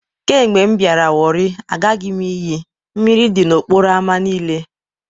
Kemgbe m biara warri, agaghi m iyi.. Mmiri di n'okporo ámá niile